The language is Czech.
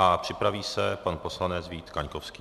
A připraví se pan poslanec Vít Kaňkovský.